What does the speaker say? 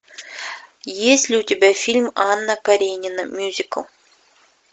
есть ли у тебя фильм анна каренина мюзикл